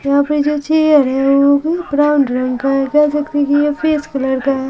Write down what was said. यहाँ पे जो चेयर है वो भी ब्राउन रंग का हैं कह सकते है कि ये फेस कलर का है।